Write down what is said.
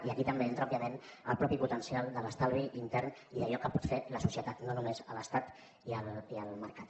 i aquí també entra òbviament el mateix potencial de l’estalvi intern i d’allò que pot fer la societat no només l’estat i el mercat